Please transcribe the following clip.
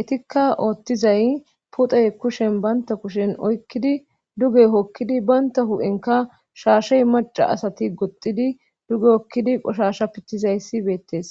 etikka oothtizay pite kushen baynta kushen oykkidi duge hokkidi baynta hu7enka shaashey maca asati goxxidi duge okkidi qoshasha pittizayssi beettes